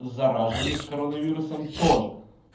заражённых коронавирусом тоже